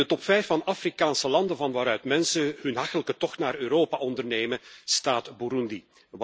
In de top 5 van Afrikaanse landen van waaruit mensen een hachelijke tocht naar Europa ondernemen, staat Burundi.